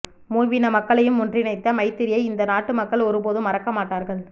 மூவின மக்களையும் ஒன்றிணைத்த மைத்திரியை இந்த நாட்டு மக்கள் ஒருபோதும் மறக்க மாட்டார்கள்